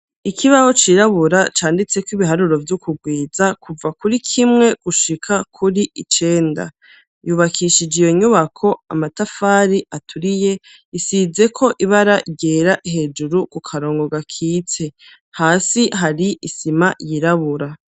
Ikibaho cirabura canditseko ibiharuro vy'ukugwiza, kuva kuri kimwe gushika kuri icenda. Yubakishije iyo nyubako amatafari aturiye, isizeko ibara ryera hejuru ku karongo gakitse, hasi hari isima yirabura.